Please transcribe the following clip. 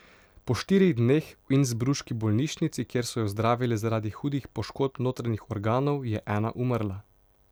Po štirih dneh v innsbruški bolnišnici, kjer so jo zdravili zaradi hudih poškodb notranjih organov, je Ena umrla.